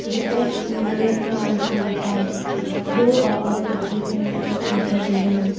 beside the AC i see a fan there are other equipments kept inside the room.